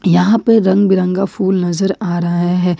यहां पर रंग बिरंगा फुल नजर आ रहा है।